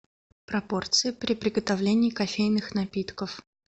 пропорции при приготовлении кофейных напитков